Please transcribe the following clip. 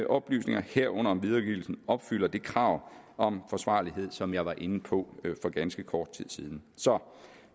oplysninger herunder om videregivelsen opfylder det krav om forsvarlighed som jeg var inde på for ganske kort tid siden så